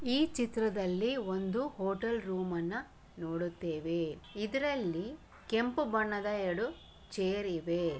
ಈ ಚಿತ್ರದಲ್ಲಿ ಒಂದು ಹೋಟೆಲ್ ರೂಮ್ ಅನ್ನು ನೋಡುತ್ತೇವೆ ಇದರಲ್ಲಿ ಕೆಂಪು ಬಣ್ಣದ ಎರಡು ಚೇರ್ ಇವೆ.